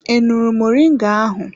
I ṅụrụ moringa ahụ?